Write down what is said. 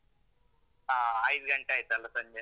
ಹ. ಐದ್ ಗಂಟೆ ಆಯ್ತಲ್ಲ ಸಂಜೆ?